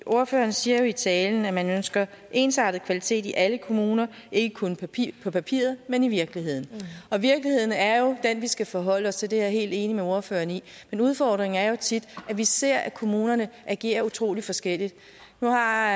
ordføreren siger jo i talen at man ønsker ensartet kvalitet i alle kommuner ikke kun på papiret men i virkeligheden og virkeligheden er jo den vi skal forholde os til det er jeg helt enig med ordføreren i men udfordringen er tit at vi ser at kommunerne agerer utrolig forskelligt nu har